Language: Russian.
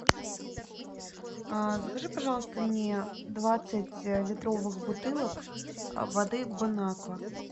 а закажи пожалуйста мне двадцать литровых бутылок воды бонаква